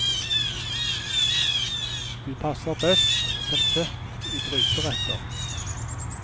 De passer best som kjøtt i gryteretter.